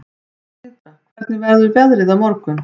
Tindra, hvernig verður veðrið á morgun?